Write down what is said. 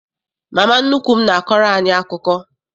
Mama nnukwu m n'akọrọ anyị akụkọ.